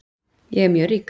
Ég er mjög rík.